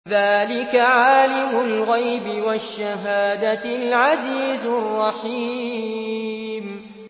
ذَٰلِكَ عَالِمُ الْغَيْبِ وَالشَّهَادَةِ الْعَزِيزُ الرَّحِيمُ